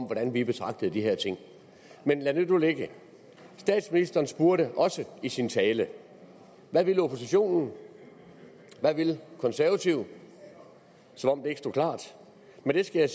hvordan vi betragter de her ting men lad det nu ligge statsministeren spurgte også i sin tale hvad vil oppositionen hvad vil konservative som om det ikke stod klart men det skal jeg